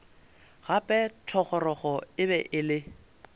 gape thogorogo e be e